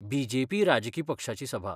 BJP. राजकी पक्षाची सभा.